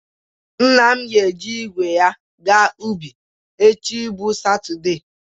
Nna m ga-eji igwe ya aga ubi echi bụ Satọde